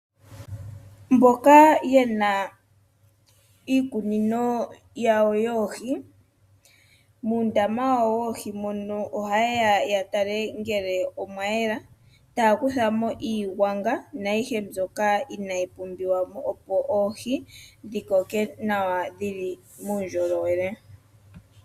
Mboka ye na iikunino iikunino yawo yoohi, muundama wawo woohi mono, oha yeya ya tale ngele omwa yela, taa kuthamo iigwanga naayihe mbyoka inayi pumbiwamo, opo oohi dhi koke nawa dhili muundjolowele.